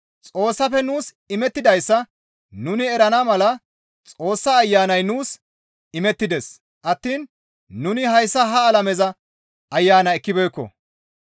Xoossafe nuus imettidayssa nuni erana mala Xoossa Ayanay nuus imettides attiin nuni hayssa ha alameza ayana ekkibeekko.